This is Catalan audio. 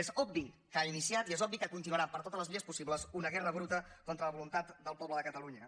és obvi que ha iniciat i és obvi que continuarà per totes les vies possibles una guerra bruta contra la voluntat del poble de catalunya